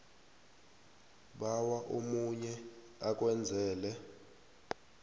bawa omunye akwenzele